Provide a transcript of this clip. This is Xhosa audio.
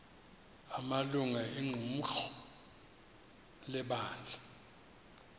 amalungu equmrhu lebandla